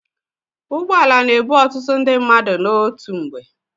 Ụgbọala na-ebu ọtụtụ ndị mmadụ n'otu mgbe.